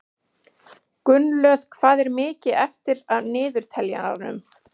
Gunnlöð, hvað er mikið eftir af niðurteljaranum?